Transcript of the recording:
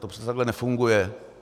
To přece takhle nefunguje!